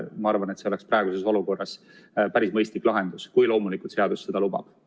Ma arvan, et see oleks praeguses olukorras päris mõistlik lahendus, kui loomulikult seadus seda lubab.